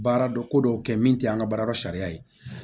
Baaradɔ ko dɔw kɛ min te an ka baarada sariya ye